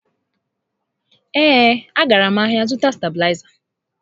Ee, a gara m ahịa zụta stabịlaịza